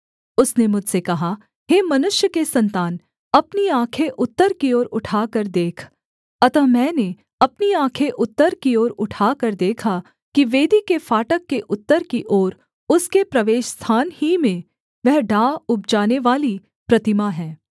उसने मुझसे कहा हे मनुष्य के सन्तान अपनी आँखें उत्तर की ओर उठाकर देख अतः मैंने अपनी आँखें उत्तर की ओर उठाकर देखा कि वेदी के फाटक के उत्तर की ओर उसके प्रवेशस्थान ही में वह डाह उपजानेवाली प्रतिमा है